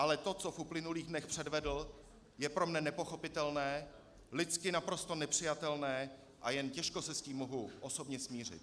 Ale to, co v uplynulých dnech předvedl, je pro mne nepochopitelné, lidsky naprosto nepřijatelné a jen těžko se s tím mohu osobně smířit.